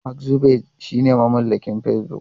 Mark Zuckerberg shine mamallakin Facebook.